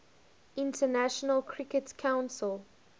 international cricket council